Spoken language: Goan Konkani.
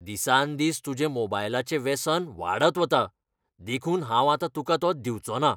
दिसांदिस तुजें मोबायलाचें वेसन वाडत वता, देखून हांव तुकांआतां तो दिवंचोना.